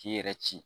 K'i yɛrɛ ci